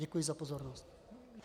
Děkuji za pozornost.